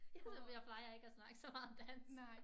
Jeg plejer ikke at snakke så meget dansk